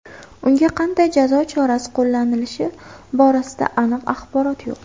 Unga qanday jazo chorasi qo‘llanilishi borasida aniq axborot yo‘q.